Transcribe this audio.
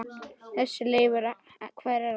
Þessi Leifur. hver er hann?